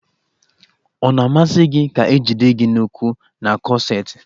Ọ na-amasi gi ka e jide gi n'ukwu n'kọseti